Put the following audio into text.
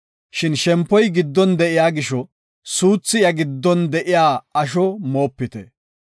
Shin shempoy giddon de7iya gisho suuthi iya giddon de7iya asho moopite.